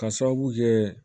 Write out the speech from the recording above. Ka sababu kɛ